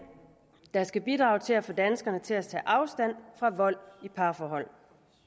der skal bidrage til at få danskerne til at tage afstand fra vold i parforhold